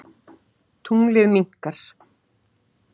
Tunglið minnkar.